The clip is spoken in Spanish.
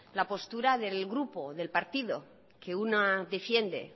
la postura del partido que una defiende